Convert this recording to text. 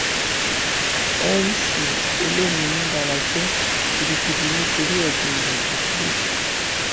mc olomini bara jẹ gidigidi nítorí ẹgbọn rẹ tó kú lójijì